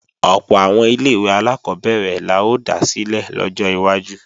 Ọ̀pọ̀ àwọn ilé-ìwé alákọ́bẹ̀rẹ̀ la ó dá sílẹ̀ lọ́jọ́ iwájú